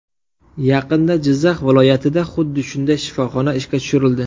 Yaqinda Jizzax viloyatida xuddi shunday shifoxona ishga tushirildi.